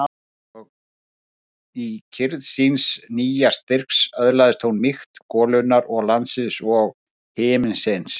Og í kyrrð síns nýja styrks öðlaðist hún mýkt golunnar og landsins og himinsins.